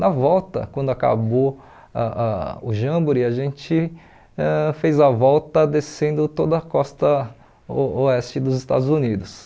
Na volta, quando acabou ah ah o Jamboree, a gente ãh fez a volta descendo toda a costa o oeste dos Estados Unidos.